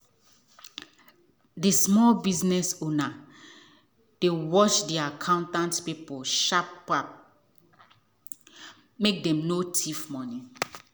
the small business owner dey watch the accountant people sharp sharp um make dem no thief money.